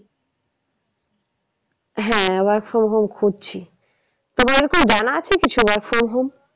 হ্যাঁ work from home খুঁজছি। তোমার কি জানা আছে কিছু work from home?